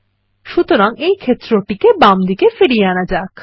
সুতরাং এই ক্ষেত্রটিকে বামদিকে ফিরিয়ে আনা যাক